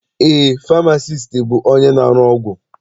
Eé, famasiisti bụ onye na-arụ ọgwụ.